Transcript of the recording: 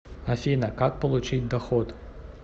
афина как получить доход